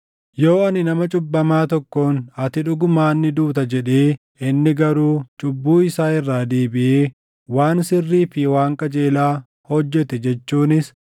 Yoo ani nama cubbamaa tokkoon, ‘Ati dhugumaan ni duuta’ jedhee inni garuu cubbuu isaa irraa deebiʼee waan sirrii fi waan qajeelaa hojjete jechuunis,